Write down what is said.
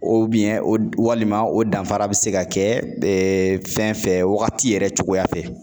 walima o danfara bɛ se ka kɛ fɛn fɛ wagati yɛrɛ cogoya fɛ